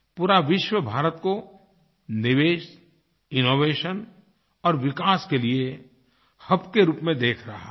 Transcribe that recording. पूरा विश्व भारत को निवेश इनोवेशन और विकास के लिए हब के रूप में देख रहा है